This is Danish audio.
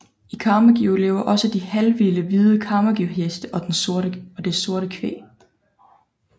I Camargue lever også de halvvilde hvide Camargueheste og det sorte kvæg